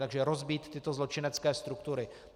Takže rozbít tyto zločinecké struktury.